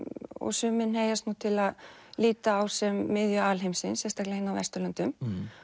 sumir hneigjast nú til að líta á sem miðju alheimsins sérstaklega hérna á Vesturlöndum